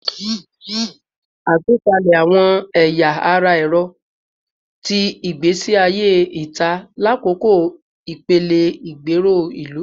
Atupalẹ awọn ẹya ara ẹrọ ti igbesi aye ita lakoko ipele igbero ilu